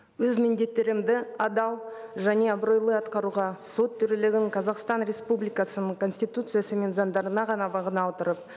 өз міндеттерімді адал және абыройлы атқаруға сот төрелігін қазақстан республикасының конституциясы мен заңдарына ғана бағына отырып